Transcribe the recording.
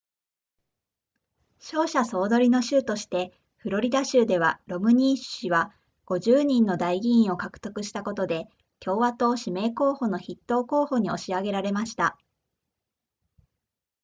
勝者総取りの州としてフロリダ州ではロムニー氏は50人の代議員を獲得したことで共和党指名候補の筆頭候補に押し上げられました